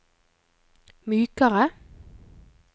mykere